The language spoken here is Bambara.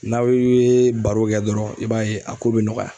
N'aw ye baro kɛ dɔrɔn, i b'a ye a ko be nɔgɔya.